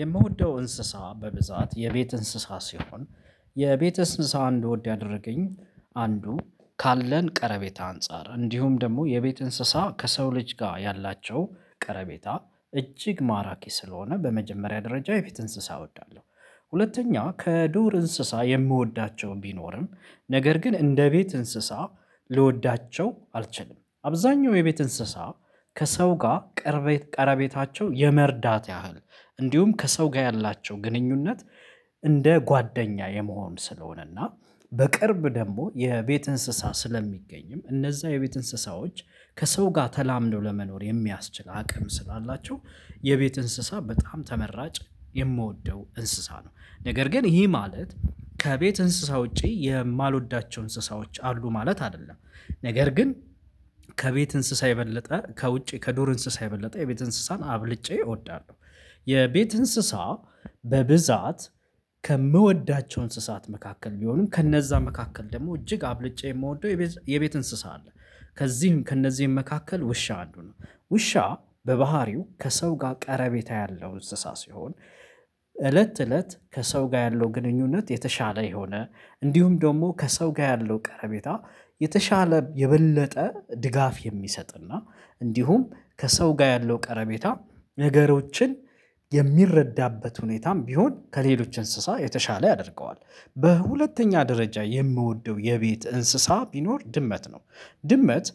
የምወደው እንስሳ በብዛት የቤት እንስሳ ሲሆን የቤት እንስሳ እንድወድ ያደረገኝ አንዱ ካለን ቀረቤታ አንፃር እንዲሁም ደግሞ የቤት እንስሳ ከሰው ልጅ ጋር ያላቸው ቀረቤታ እጅግ ማራኪ ስለሆነ በመጀመሪያ ደረጃ የቤት እንስሳ እወዳለሁ። ሁለተኛ ከዱር እንስሳ የምወዳቸው ቢኖርም ነገር ግን እንደ ቤት እንስሳ ልወዳቸው አልችልም አብዛኛው የቤት እንስሳ ከሰው ጋር ቀረቤታቸው የመርዳት ያህል እንዲሁም ከሰው ጋር ያላቸው ግንኙነት እንደ ጓደኛ የመሆን ስለሆነና። በቅርብ ደግሞ የቤት እንሰሳ ስለሚገኝ እነዛ የቤት እንስሳዎች ከሰው ጋር ተላምደው ለመኖር የሚያስችል አቅም ስላላቸው የቤት እንስሳ በጣም ተመራጭ የምወደው እንስሳ ነው። ነገር ግን ይሄ ማለት ከቤት እንስሳ ውጪ የማልወዳቸው እንስሳዎች አሉ ማለት አይደለም። ነገር ግን ከቤት እንስሳ የበለጠ ከውጪ ከዱር እንስሳ የበለጠ የቤት እንስሳን አብልጬ እወዳለሁ። የቤት እንስሳ በብዛት ከምወዳቸው እንስሳት መካከል ቢሆንም ከነዛ መካከል ደግሞ እጅግ አብልጬ የምወደው የቤት እንስሳ አለ። ከዚህም ከእነዚህም መካከል ውሻ አንዱ ነው። ውሻ በባህሪው ከሰው ጋር ቀረቤታ ያለው እንስሳ ሲሆን እለት እለት ከሰው ጋር ያለው ግንኙነት የተሻለ የሆነ እንዲሁም ደግሞ ከሰው ጋር ያለው ቀረቤታ የተሻለ የበለጠ ድጋፍ የሚሰጥና እንዲሁም ከሰው ጋር ያለው ቀረቤታ ነገሮችን የሚረዳበት ሁኔታም ቢሆን ከሌሎች እንስሳ የተሻለ ያደርገዋል። በሁለተኛ ደረጃ የምወደው የቤት እንስሳ ቢኖር ድመት ነው። ድመት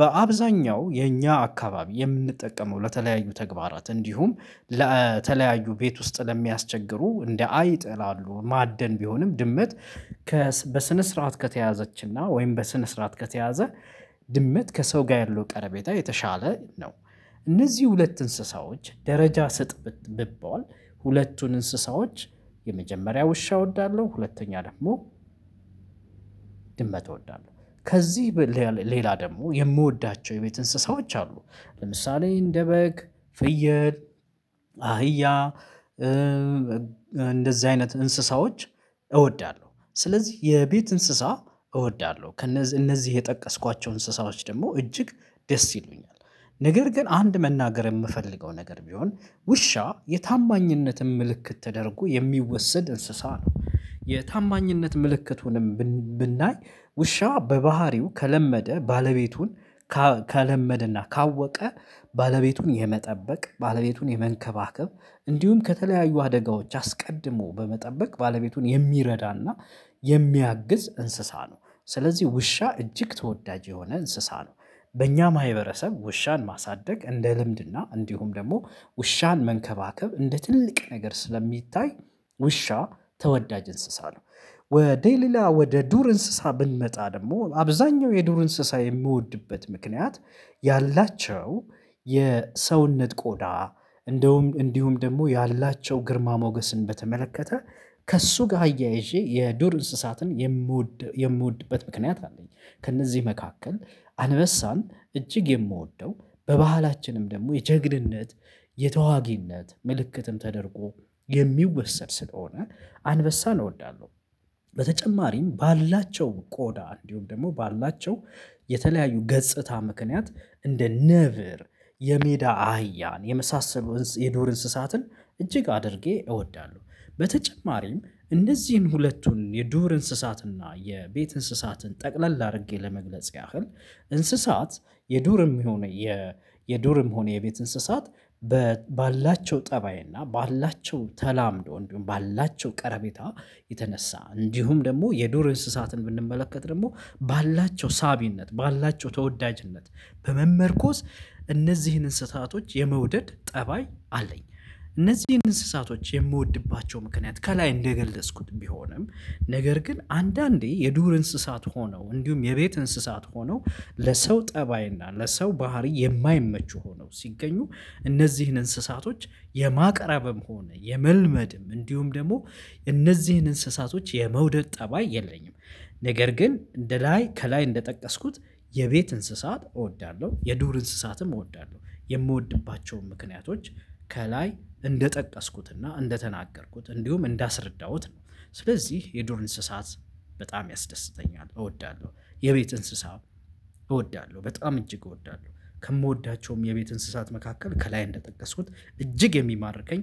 በአብዛኛው የኛ አካባቢ የምንጠቀመው ለተለያዩ ተግባራት እንዲሁም ለተለያዩ ቤት ውስጥ ለሚያስቸግሩ እንደ አይጥ ላሉ ማደን ቢሆንም ድመት በስነ ስርዓት ከተያዘችና ወይም በስነ ስርዓት ከተያዘ ድመት ከሰው ጋር ያለው ቀረቤታ የተሻለ ነው። እነዚህ ሁለት እንስሳዎች ደረጃ ስጥ ብባል ሁለቱን እንስሳዎች የመጀመሪያ ውሻ እወዳለሁ ሁለተኛ ደግሞ ድመት እወዳለሁ። ከዚህ ሌላ ደግሞ የምወዳቸው የቤት እንስሳዎች አሉ። ለምሳሌ እንደ በግ፣ ፍየል፣ አህያ እንደዚህ አይነት እንስሳዎች እወዳለሁ ስለዚህ የቤት እንስሳ እወዳለሁ እነዚህ የጠቀስኳቸው እንስሳዎች ደግሞ እጅግ ደስ ይሉኛል። ነገር ግን አንድ መናገር የምፈልገው ነገር ቢሆን ውሻ የታማኝነትም ምልክት ተደርጎ የሚወሰድ እንስሳ ነው የታማኝነት ምልክቱንም ብናይ ውሻ በባህሪው ከለመደ ባለቤቱን ከለመደና ካወቀ ባለቤቱን የመጠበቅ ባለቤቱን የመንከባከብ እንዲሁም ከተለያዩ አደጋዎች አስቀድሞ በመጠበቅ ባለቤቱን የሚረዳና የሚያግዝ እንስሳ ነው ስለዚህ ውሻ እጅግ ተወዳጅ የሆነ እንስሳ ነው። በእኛም ማህበረሰብ ውሻን ማሳደግ እንደ ልምድና እንዲሁም ደግሞ ውሻን መንከባከብ እንደ ትልቅ ነገር ስለሚታይ ውሻ ተወዳጅ እንስሳ ነው። ወደ ሌላ ወደ ዱር እንስሳ ብንመጣ ደግሞ አብዛኛው የዱር እንስሳ የምወድበት ምክንያት ያላቸው የሰውነት ቆዳ እንደውም እንዲሁም ደግሞ ያላቸው ግርማ ሞገስን በተመለከተ ከእሱ ጋር አያይዤ የዱር እንስሳትን የምወድበት ምክንያት አለኝ ከእነዚህ መካከል አንበሳን እጅግ የምወደው በባህላችንም ደግሞ የጀግንነት የተዋጊነት ምልክትም ተደርጎ የሚወሰድ ስለሆነ አንበሳ እወዳለሁ። በተጨማሪም ባላቸው ቆዳ እንዲሁም ደግሞ ባላቸው የተለያዩ ገጽታ ምክንያት እንደ ነብር የሜዳ አህያን የመሳሰሉ የዱር እንስሳትን እጅግ አድርጌ እወዳለሁ። በተጨማሪም እነዚህን ሁለቱን የዱር እንስሳትና የቤት እንስሳትን ጠቅለል አድርጌ ለመግለጽ ያህል እንስሳት የዱርም ይሁን የዱርም ሆነ የቤት እንስሳት ባላቸው ጠባይ እና ባላቸው ተላምዶ እንዲሁም ባላቸው ቀረቤታ የተነሳ እንዲሁም ደግሞ የዱር እንስሳትን ብንመለከት ደግሞ ባላቸው ሳቢነት ባላቸው ተወዳጅነት በመመርኮዝ እነዚህን እንስሳቶች የመውደድ ጠባይ አለኝ። እነዚህን እንስሳቶች የምወድባቸው ምክንያት ከላይ እንደገለጽኩት ቢሆንም ነገር ግን አንዳንዴ የዱር እንስሳት ሆነው እንዲሁም የቤት እንስሳት ሆነው ለሰው ጠባይና ለሰው ባህሪ የማይመቹ ሆነው ሲገኙ እነዚህን እንስሳቶች የማቅረብም ሆነ የመልመድም እንዲሁም ደግሞ እነዚህን እንስሳቶች የመውደድ ጠባይ የለኝም። ነገር ግን እንደ ላይ ከላይ እንደጠቀስኩት የቤት እንስሳ እወዳለሁ የዱር እንስሳትም እወዳለሁ የምወድባቸውም ምክንያቶች ከላይ እንደጠቀስኩትና እንደተናገርኩት እንዲሁም እንዳስረዳሁት ነው። ስለዚህ የዶር እንስሳት በጣም ያስደስተኛል እወዳለሁ። የቤት እንስሳ። እወዳለሁ በጣም እጅግ እወዳለሁ። ከምወዳቸውም የቤት እንስሳት መካከል ከላይ እንደጠቀስኩት እጅግ የሚማርከኝ